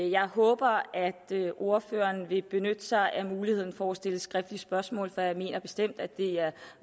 jeg håber at ordføreren vil benytte sig af muligheden for at stille skriftlige spørgsmål for jeg mener bestemt at det er